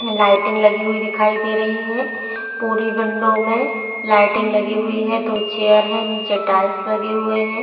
Lighting लगी हुई दिखाई दे रहीं हैं पूरी विंडो में लाइटिंग लगी हुई है दो चेयर है नीचे टाइल्स लगे हुए हैं।